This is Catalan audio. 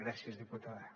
gràcies diputada